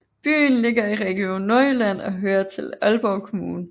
Byen ligger i Region Nordjylland og hører til Aalborg Kommune